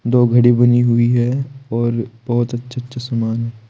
दो घड़ी बनी हुई है और बहोत अच्छा अच्छा समान--